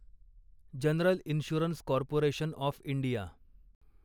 general insurance corporation of India